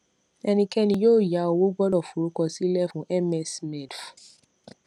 ẹnikẹni yóò yá owó gbọdọ forúkọ sílẹ fún msmedf